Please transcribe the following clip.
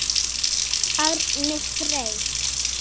Árni Freyr.